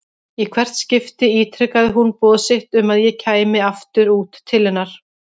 Í hvert skipti ítrekaði hún boð sitt um að ég kæmi aftur út til hennar.